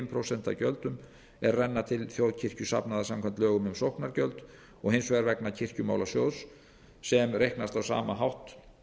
af gjöldum er renna til þjóðkirkjusafnaða samkvæmt lögum um sóknargjöld og hins vegar vegna kirkjumálasjóðs sem reiknast á sama hátt